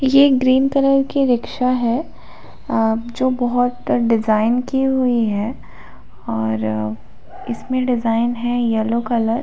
ये एक green colour की रिक्शा है अ जो बहुत डिजाइन की हुई है और इसमे डिजाइन है येलो कलर ।